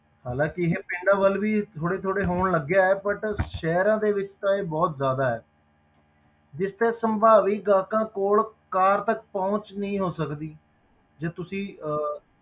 ਹਾਲਾਂਕਿ ਇਹ ਪਿੰਡਾਂ ਵੱਲ ਵੀ ਇਹ ਥੋੜ੍ਹੇ ਥੋੜ੍ਹੇ ਹੋਣ ਲੱਗਿਆ ਹੈ but ਸ਼ਹਿਰਾਂ ਦੇ ਵਿੱਚ ਤਾਂ ਇਹ ਬਹੁਤ ਜ਼ਿਆਦਾ ਹੈ ਜਿਸ ਤੇ ਸੰਭਾਵੀ ਗਾਹਕਾਂ ਕੋਲ ਕਾਰ ਤੱਕ ਪਹੁੰਚ ਨਹੀਂ ਹੋ ਸਕਦੀ ਜੇ ਤੁਸੀਂ ਅਹ